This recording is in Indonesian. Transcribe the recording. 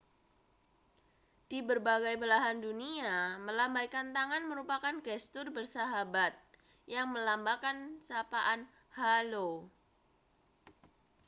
di berbagai belahan dunia melambaikan tangan merupakan gestur bersahabat yang melambangkan sapaan halo